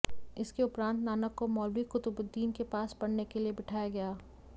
इसके उपरांत नानक को मौलवी कुतुबुद्दीन के पास पढऩे के लिए बिठाया गया